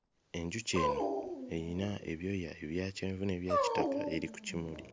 Enjuki eno eyina ebyoya ebya kyenvu n'ebyakitaka eri ku kimuli.